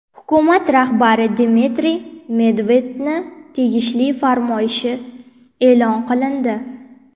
Hukumat rahbari Dmitriy Medvedevning tegishli farmoyishi e’lon qilindi.